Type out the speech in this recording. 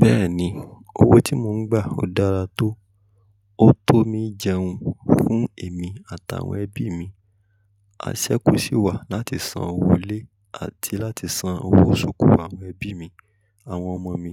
Bẹ́ẹ̀ni, owó tí mò ń gbà ó dára tó, ó tọ́ mí jẹun fún èmi àtàwọn ẹbí mi. A ṣẹ́kú sì wà láti san owó ilé àti láti san owó ṣòkò àwọn ẹbí mi, àwọn ọmọ mi.